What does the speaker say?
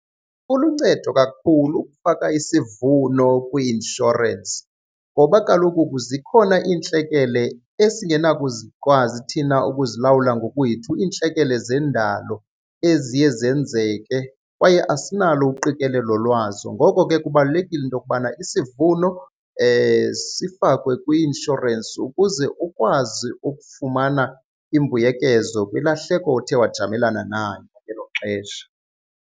Kuluncedo kakhulu ukufaka isivuno kwi-inshorensi ngoba kaloku zikhona iintlekele esingenakuzikwazi thina ukuzilalwula ngokwethu, iintlekele zendalo eziye zenzeke kwaye asinalo uqikelelo lwazo. Ngoko ke kubalulekile into yokubana isivuno sifakwe kwi-inshorensi ukuze ukwazi ukufumana imbuyekezo kwilahleko othe wajamelana nayo ngelo xesha.